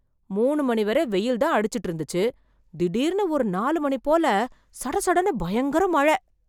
மூணு மணி வரை வெயில் தான் அடிச்சுட்டு இருந்துச்சு, திடிர்னு ஒரு நாலு மணி போல சட சடன்னு பயங்கர மழை.